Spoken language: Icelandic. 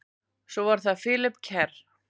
Svo er það Philip Kerr.